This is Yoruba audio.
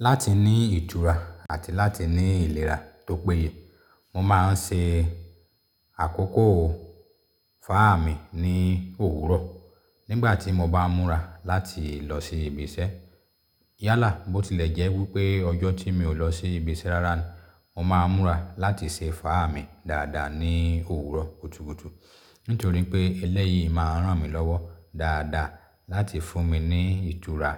Láti ní ìtura àti láti ní ìlera tó péye, mo máa ń ṣe àkókò fáà mi ní òwúrọ̀ nígbà tí mo bá múra láti lọ sí ibi iṣẹ́. Yálà bó tilẹ̀ jẹ́ wípé ọjọ́ tí mi ò lọ sí ibi iṣẹ́ rara ni, mo máa ń múra láti ṣe fáà mi dáadáa ní òwúrọ̀ kùtùkùtù. Nítorí pé eléyìí máa ń ràn mí lọ́wọ́ dáadáa láti fún mi ní ìtura